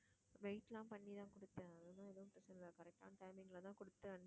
wait ல பண்ணிதான் குடுத்தேன் அதுலாம் எதுவும் பிரச்சனை இல்ல correct ஆன timing லதான் குடுத்தேன்